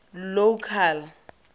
local